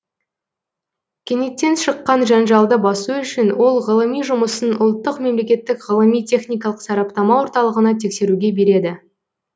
кенеттен шыққан жанжалды басу үшін ол ғылыми жұмысын ұлттық мемлекеттік ғылыми техникалық сараптама орталығына тексеруге береді